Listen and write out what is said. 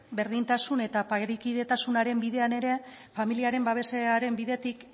berdintasun eta parekidetasunaren bidean ere familiaren babesaren bidetik